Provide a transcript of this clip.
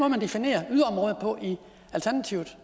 man definerer yderområder på i alternativet